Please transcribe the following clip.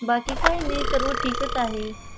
बाकी काही नाही सर्व ठीकच आहे.